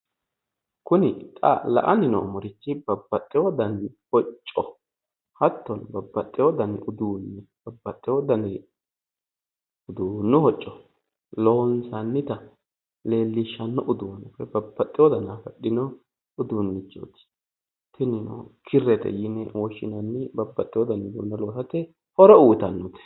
Kuni xa la'anni noommori babbaxewo dani hocco hattono babbaxewo dani uduunne babbaxewo dani uduunni hocco gattono